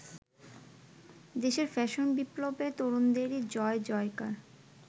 দেশের ফ্যাশন বিপ্লবে তরুণদেরই জয়-জয়কার।